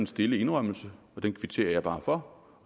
stille indrømmelse og den kvitterer jeg bare for